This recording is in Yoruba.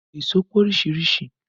Èṣó pé oríṣiríṣìí